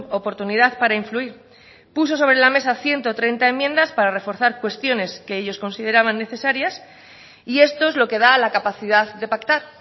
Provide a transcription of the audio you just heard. oportunidad para influir puso sobre la mesa ciento treinta enmiendas para reforzar cuestiones que ellos consideraban necesarias y esto es lo que da la capacidad de pactar